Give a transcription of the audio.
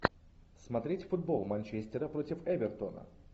смотреть футбол манчестера против эвертона